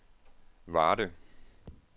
Varde